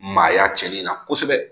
Maaya cɛnli in na kosɛbɛ